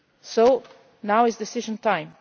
East. So now is decision